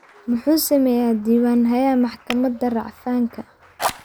Muxuu sameeyaa diiwaan-hayaha maxkamada racfaanka?